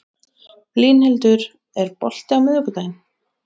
Línhildur, er bolti á miðvikudaginn?